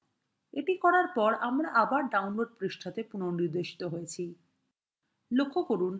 এটি করার পর আমরা আবার download পৃষ্ঠাতে পুনঃনির্দেশিত হয়েছি